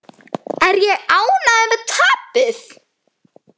Er ég ánægður með tapið?